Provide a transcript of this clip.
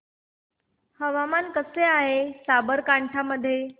हवामान कसे आहे साबरकांठा मध्ये